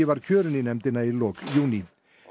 var kjörinn í nefndina í lok júní